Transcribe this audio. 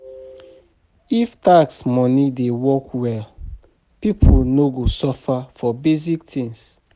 If tax money dey work well, people no go suffer for basic things.